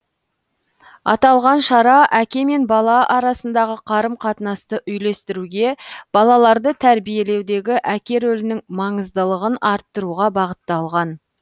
аталған шара әке мен бала арасындағы қарым қатынасты үйлестіруге балаларды тәрбиелеудегі әке рөлінің маңыздылығын арттыруға бағытталған